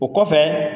O kɔfɛ